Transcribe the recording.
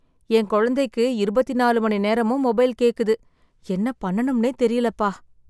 என் குழந்தைக்கு இருபத்திநாலு மணி நேரமும் மொபைல் கேக்குது , என்ன பண்ணனும்னே தெரியலப்பா.